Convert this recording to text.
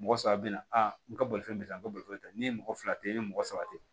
Mɔgɔ saba bɛna n ka bolifɛn bɛ n ka bolifɛn kan n'i ye mɔgɔ fila tɛ i ni mɔgɔ saba tɛ